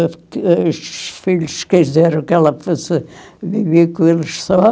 Aí os filhos quiseram que ela fosse viver com eles só.